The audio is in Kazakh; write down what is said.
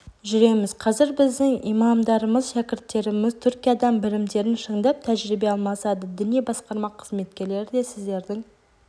жүреміз қазір біздің имамдарымыз шәкірттеріміз түркиядан білімдерін шыңдап тәжірибе алмасады діни басқарма қызметкерлері де сіздердің